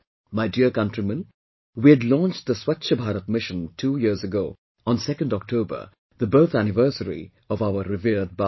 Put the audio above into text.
My dear countrymen, we had launched 'Swachha Bharat Mission' two years ago on 2nd October, the birth anniversary of our revered Bapu